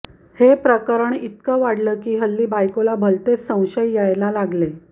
हे प्रकरण इतक वाढल की हल्ली बायकोला भलतेच संशय यायला लागले